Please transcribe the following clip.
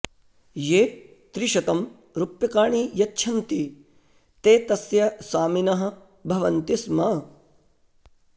ये त्रिशतं रूप्यकाणि यच्छन्ति ते तस्य स्वामिनः भवन्ति स्म